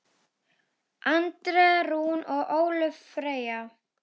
Andrea Rún og Ólöf Freyja.